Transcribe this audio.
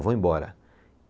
Eu vou embora.